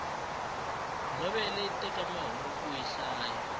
novhele yi teka masiku kuyi hlaya